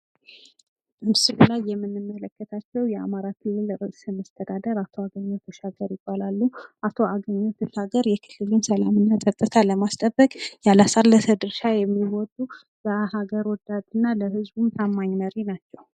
በምስሉ ላይ የምንመለከታቸው የአማራ ክልል ርዕሰ መስተዳድር አቶ አገኘሁ ተሻገር ይባላሉ ፤ አቶ አገኘሁ ተሻገር የክልሉን ሰላም እና ጸጥታ ለማስጠበቅ ያላለሰለሰ ድርሻ የሚወጡ ፥ ሀገር ወዳድ እና ለህዝቡም ታማኝ መሪ ናቸው።